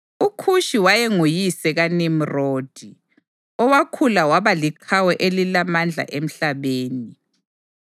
UKhushi wayenguyise kaNimrodi, owakhula waba liqhawe elilamandla emhlabeni.